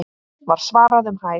var svarað um hæl.